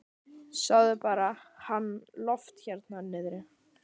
Sjáðu bara hann Loft hérna niðri.